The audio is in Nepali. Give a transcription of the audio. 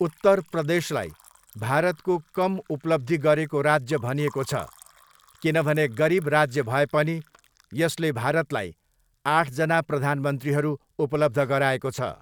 उत्तर प्रदेशलाई भारतको कम उपलब्धि गरेको राज्य भनिएको छ किनभने गरिब राज्य भए पनि यसले भारतलाई आठजना प्रधानमन्त्रीहरू उपलब्ध गराएको छ।